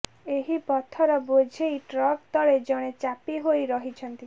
ଏହି ପଥର ବୋଝେଇ ଟ୍ରକ ତଳେ ଜଣେ ଚାପି ହୋଇ ରହିଛନ୍ତି